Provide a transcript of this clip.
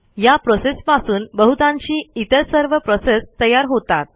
या प्रोसेसपासून बहुतांशी इतर सर्व प्रोसेस तयार होतात